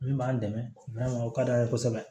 Min b'an dɛmɛ o ka d'an ye kosɛbɛ